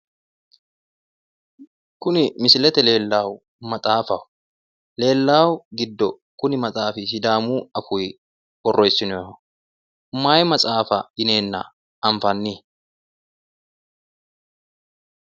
Kuni misilete leelannohu maxaafaho leelahu giddo kuni maxaafi sidaamu afii borreesinoyiho mayi maxaafa yineena anifanni